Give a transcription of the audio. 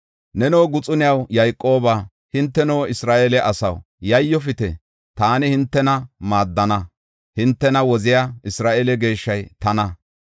Neno guxuniyaw, Yayqooba, hinteno Isra7eele asaw, yayyofite; taani hintena maaddana; hintena woziya Isra7eele Geeshshay tana.